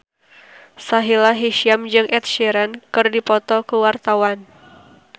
Sahila Hisyam jeung Ed Sheeran keur dipoto ku wartawan